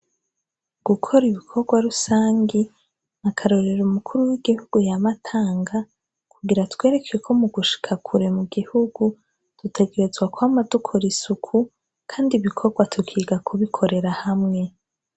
Gukora ibikogwa rusangi ni akarorero umukuru w' igihugu yama atanga kugira atwereke ko mu gushika kure mugihugu dutegerezwa kwama dukora isuku kandi ibikogwa tukiga kubikorera hamwe.